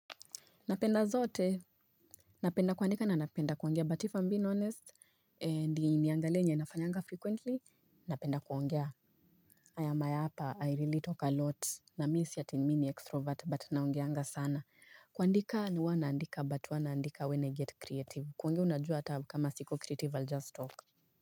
Napenda zote, napenda kuandika na napenda kuongea, but if I'm being honest, and nimeangalia yenye nafanyanga frequently, napenda kuongea. I am a yapa, I really talk a lot, na misio ati mimi ni extrovert, but naongeanga sana. Kuandika mi huwa naandika, but huwa naandika when I get creative. Kuongea unajua hata kama siko creative, I'll just talk.